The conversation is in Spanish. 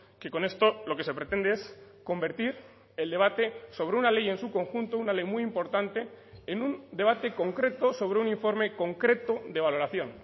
que con esto lo que se pretende es convertir el debate sobre una ley en su conjunto una ley muy importante en un debate concreto sobre un informe concreto de valoración